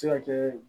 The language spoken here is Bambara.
Se ka kɛ